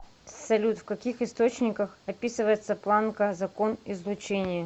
салют в каких источниках описывается планка закон излучения